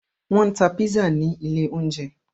Wọn tá pizza ní ilé oúnjẹ